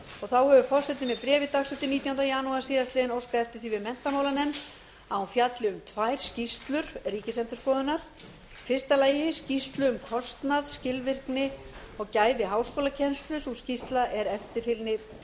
þá hefur forseti með bréfi nítjánda janúar síðastliðnum óskað eftir því við menntamálanefnd að hún fjalli um tvær skýrslur ríkisendurskoðunar í fyrsta lagi skýrslu um kostnað skilvirkni og gæði háskólakennslu sú skýrsla er eftirfylgni